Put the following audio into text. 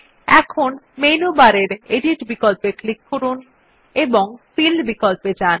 এখন মেনু বারের এডিট বিকল্পে ক্লিক করুন এবং ফিল বিকল্পে যান